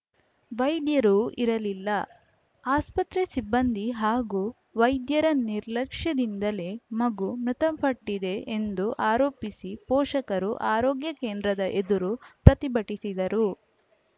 ವೈದ್ಯರೂ ಇರಲಿಲ್ಲ ಆಸ್ಪತ್ರೆ ಸಿಬ್ಬಂದಿ ಹಾಗೂ ವೈದ್ಯರ ನಿರ್ಲಕ್ಷ್ಯದಿಂದಲೇ ಮಗು ಮೃತಪಟ್ಟಿದೆ ಎಂದು ಆರೋಪಿಸಿ ಪೋಷಕರು ಆರೋಗ್ಯ ಕೇಂದ್ರದ ಎದುರು ಪ್ರತಿಭಟಿಸಿದರು